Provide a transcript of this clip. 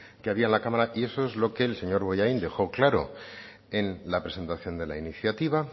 que había en la cámara y eso es lo que el señor bollain dejó claro en la presentación de la iniciativa